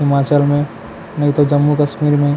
हिमाचल में नहीं तो जम्मू कश्मीर में--